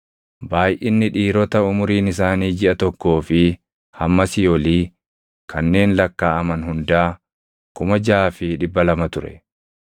Baayʼinni dhiirota umuriin isaanii jiʼa tokkoo fi hammasii olii kanneen lakkaaʼaman hundaa 6,200 ture.